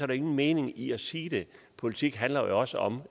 der ingen mening i at sige det politik handler jo også om